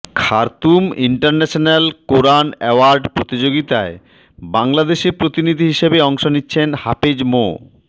Khartoum international কোরআন award প্রতিযোগিতায় বাংলাদেশে প্রতিনিধি হিসেবে অংশ নিচ্ছেন হাফেজ মো